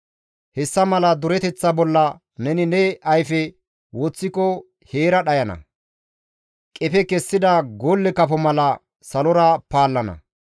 Hessa mala dureteththa bolla neni ne ayfe woththiko heera dhayana; qefe kessida golle kafo mala salora paallana.